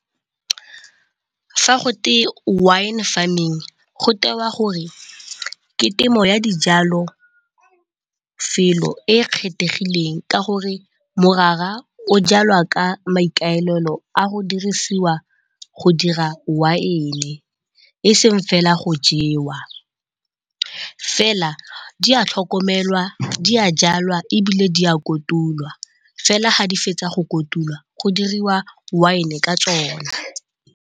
Fa gotwe wine farming go tewa gore ke temo ya dijalo felo e kgethegileng ka gore morara o jalwa ka maikaelelo a go dirisiwa go dira wine e seng fela go jewa. Fela di a tlhokomelwa, di a jalwa ebile di a kotulwa fela ga di fetsa go kotulwa go diriwa wine ka tsone.